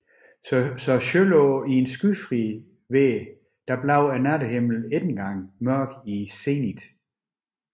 Så selv i skyfrit vejr bliver nattehimlen ikke engang mørk i zenith